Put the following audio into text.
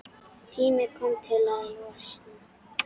Tími kominn til að losna.